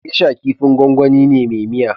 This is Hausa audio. Gesha kifin gwangwani ne me miya